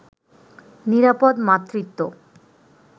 নিরাপদ মাতৃত্ব